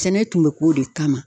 Sɛnɛ tun be k'o de kama